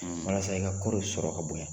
Walasa i ka ko dɔw sɔrɔ o ka bonya.